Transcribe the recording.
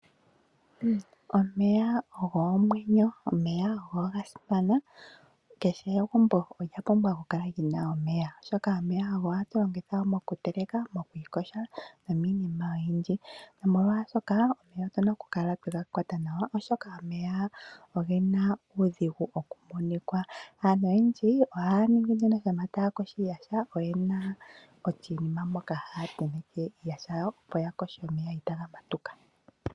Omeya ogo omwenyo. Omeya oga simana kehe egumbo olya pumbwa oku kala lina omeya oshoka omeya ogo hatu longitha mokuteleka nomoku ikosha no miniima oyindji nomolwashoka otuna oku kala twega kwata nawa oshoka omeya ogena uudhigu okukunikwa. Aantu yendji ohaya ningi nduno una ta kosho iiyaha oyena oshinima moka haya tenteke iiyaha yawo opo ya koshele omeya itaga matuka.